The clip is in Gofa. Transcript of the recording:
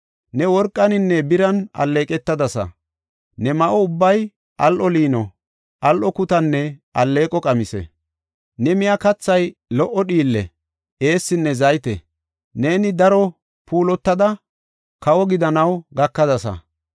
Ne worqaninne biran alleeqetadasa; ne ma7o ubbay al7o liino, al7o kutanne alleeqo qamise. Ne miya kathay lo77o dhiille, eessinne zayte. Neeni daro puulatada, kawo gidanaw gakadasa.